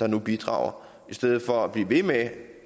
der nu bidrager i stedet for at vi bliver ved med